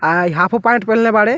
आ इ half pant पेहनले बाड़े।